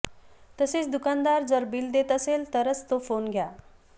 तसेच दुकानदार जर बिल देत असेल तरच तो फोन घ्या